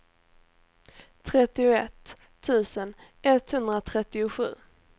trettioett tusen etthundratrettiosju